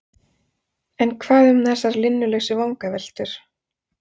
en hvað um þessar linnulausu vangaveltur?